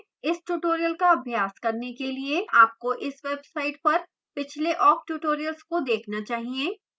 इस tutorial का अभ्यास करने के लिए आपको इस website पर पिछले awk tutorials को देखना चाहिए